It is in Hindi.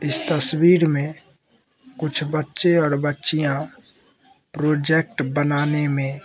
इस तस्वीर में कुछ बच्चे और बच्चियां प्रोजेक्ट बनाने में --